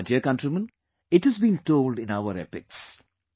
My dear countrymen, it has been told in our epics